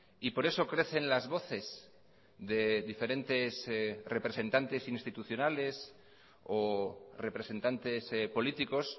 y por eso crecen las voces de diferentes representantes institucionales o representantes políticos